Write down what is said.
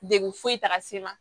Degun foyi t'a la se ma